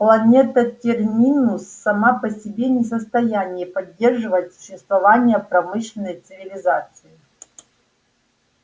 планета терминус сама по себе не в состоянии поддерживать существование промышленной цивилизации